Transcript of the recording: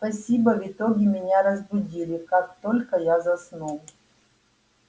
спасибо в итоге меня разбудили как только я заснул